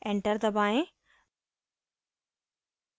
enter दबाएं